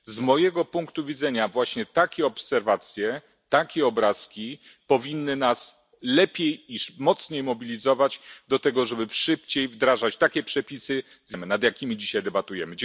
Z mojego punktu widzenia właśnie takie obserwacje, takie obrazki powinny nas lepiej i mocniej mobilizować do tego, żeby szybciej wdrażać takie przepisy, nad jakimi dzisiaj debatujemy.